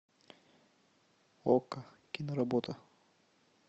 окко киноработа